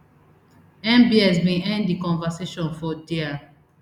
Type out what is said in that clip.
mbs bin end di conversation for dia